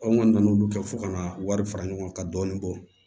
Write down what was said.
Anw kɔni nana olu kɛ fo ka na wari fara ɲɔgɔn kan ka dɔɔni bɔ